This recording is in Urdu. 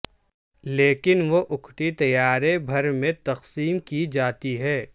لیکن وہ اکٹھی طیارے بھر میں تقسیم کی جاتی ہیں